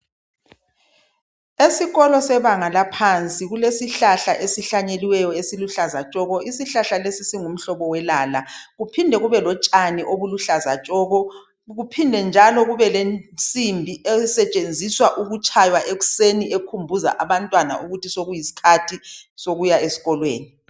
Esikolo sebanga laphansi kulesihlahla selala esihlanyelweyo esiluhlaza tshoko ,kuphinde kubelensimbi etshaywa ikhumbuza abantwana besikolo ukuba isikhathi sokuza esikolo sesikwanile.